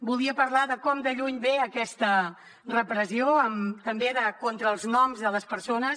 volia parlar de com de lluny ve aquesta repressió també contra els noms de les persones